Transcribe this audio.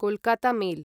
Kolkata mail